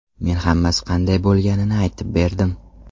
Men hammasi qanday bo‘lganini aytib berdim.